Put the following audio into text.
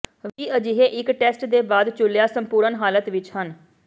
ਵੀ ਅਜਿਹੇ ਇੱਕ ਟੈਸਟ ਦੇ ਬਾਅਦ ਚੂਲਿਆ ਸੰਪੂਰਣ ਹਾਲਤ ਵਿਚ ਹਨ